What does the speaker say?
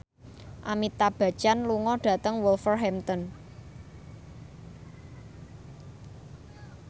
Amitabh Bachchan lunga dhateng Wolverhampton